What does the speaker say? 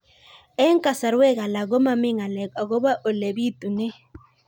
Eng' kasarwek alak ko mami ng'alek akopo ole pitunee